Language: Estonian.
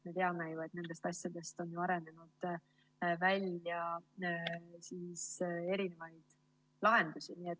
Me teame ju, et nendest asjadest on arenenud välja erinevaid lahendusi.